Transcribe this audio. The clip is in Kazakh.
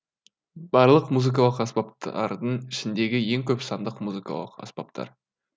барлық музыкалық аспаптардың ішіндегі ең көп санды музыкалық аспаптар